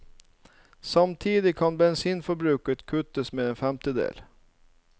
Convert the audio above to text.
Samtidig kan bensinforbruket kuttes med en femtedel.